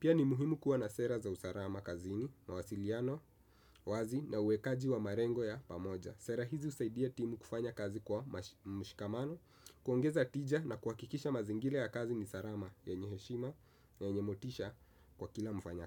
Pia ni muhimu kuwa na sera za usalama kazini, mawasiliano, wazi na uwekaji wa malengo ya pamoja. Sera hizi husaidia timu kufanya kazi kwa mshikamano kuongeza tija na kuhakikisha mazingira ya kazi ni salama yenye heshima, yenye motisha kwa kila mfanya.